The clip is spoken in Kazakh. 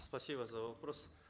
спасибо за вопрос